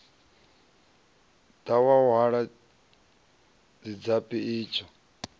ḓa wa hwala tshidzabi itsho